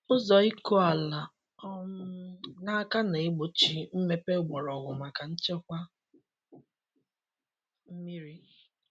Ụzọ ịkụ ala um n’aka na-egbochi mmepe mgbọrọgwụ maka nchekwa mmiri.